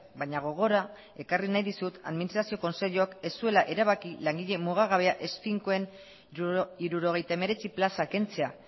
baina gogora ekarri nahi dizut administrazio kontseiluak ez zuela erabaki langile mugagabea ez finkoen hirurogeita hemeretzi plaza kentzea